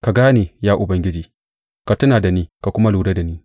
Ka gane, ya Ubangiji; ka tuna da ni ka kuma lura da ni.